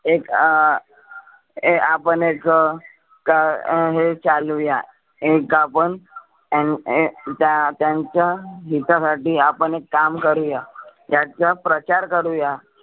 एक अं आपण एक गा अं हे चालवूया एक आपण एम अं त्या त्याच्या हिता साठी आपण एक काम करुया. त्याचा प्रचार करूया.